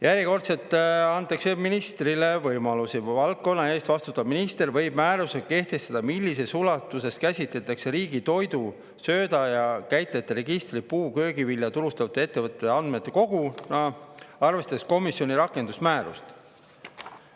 Järjekordselt antakse ministrile võimalusi: valdkonna eest vastutav minister võib määrusega kehtestada, millises ulatuses käsitatakse riigi toidu ja sööda käitlejate registrit puu‑ ja köögivilja turustavate ettevõtjate andmekoguna, arvestades komisjoni rakendusmäärust.